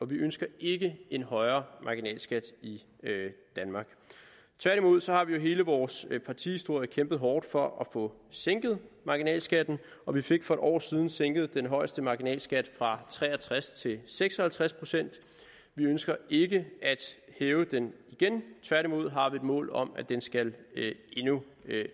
vi ønsker ikke en højere marginalskat i danmark tværtimod har vi jo gennem hele vores partihistorie kæmpet hårdt for at få sænket marginalskatten og vi fik for et år siden sænket den højeste marginalskat fra tre og tres procent til seks og halvtreds procent vi ønsker ikke at hæve den igen tværtimod har vi et mål om at den skal endnu